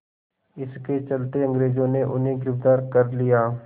इसके चलते अंग्रेज़ों ने उन्हें गिरफ़्तार कर लिया